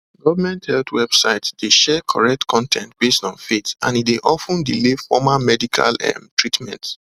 government health websites dey share correct con ten t based on faith and e dey of ten delay formal medical um treatment